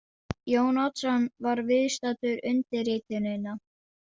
Jón Oddsson var viðstaddur undirritunina.